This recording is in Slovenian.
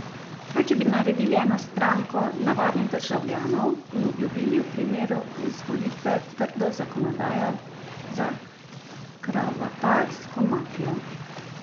Kaj če bi naredili eno stranko navadnih državljanov in obljubili v primeru izvolitve trdo zakonodajo za kravatarsko mafijo?